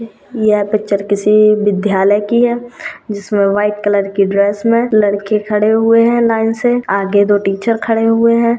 यह पिक्चर किसी विद्यालय की है जिसमे व्हाइट कलर की ड्रेस में लड़के खड़े हुवे है लाइन से आगे दो टीचर खड़े हुवे है।